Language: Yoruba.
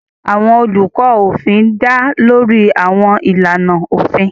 Àwọn olùkọ́ òfin dá lórí àwọn ìlànà òfin.